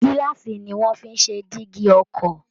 Gíláàsì ni wọ́n fi ṣe dígí ọkọ̀